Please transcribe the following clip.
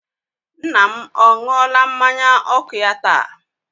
Nna m ọ ṅụọla mmanya ọkụ ya taa?